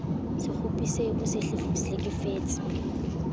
se kgopisehe o se hlekefetse